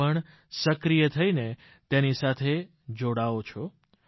આપ પણ સક્રિય થઈને તેની સાથે જોડાઓ છો